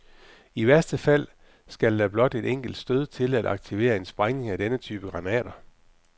I værste fald skal der blot et enkelt stød til at aktivere en sprængning af denne type granater.